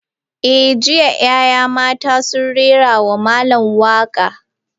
Eh, jiya 'yan matan sun rera wa malam waka.